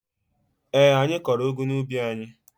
Eé, anyị kọrọ ụgụ n'ubi anyị.